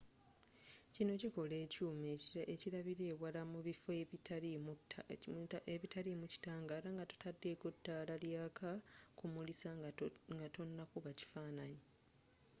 kino kikola ekyuma ekilabila ewala mu bifo ebitalinamu kitangala nga totadeko taala lyaka kumulisa nga tonakuba kifananyi